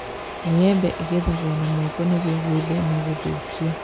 Maembe ĩgethagwo na moko nĩguo gwĩthema gũthũkia